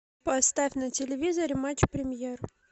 поставь на телевизоре матч премьер